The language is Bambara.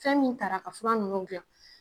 Fɛn min tara ka fura ninnu dilan.